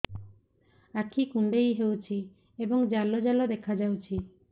ଆଖି କୁଣ୍ଡେଇ ହେଉଛି ଏବଂ ଜାଲ ଜାଲ ଦେଖାଯାଉଛି